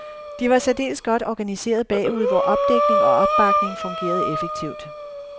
De var særdeles godt organiseret bagude, hvor opdækning og opbakning fungerede effektivt.